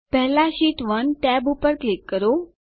પહેલા sheet 1 tab પર click કરો